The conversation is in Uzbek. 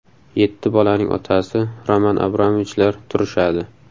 Yetti bolaning otasi Roman Abramovichlar turishadi.